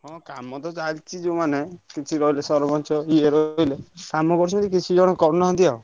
ହଁ କାମ ତ ଚାଲିଚି ଯୋଉ ମାନେ କିଛି ରହିଲେ ସରପଞ୍ଚ ଇଏର ରହିଲେ କାମ କରୁଛନ୍ତି କିଛି ଜଣ କରୁନାହାନ୍ତି ଆଉ।